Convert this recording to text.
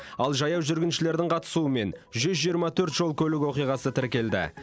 ал жаяу жүргіншілердің қатысуымен жүз жиырма төрт жол көлік оқиғасы тіркелді